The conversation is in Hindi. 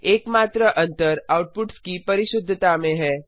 एकमात्र अंतर आउटपुट्स की परिशुद्धता में है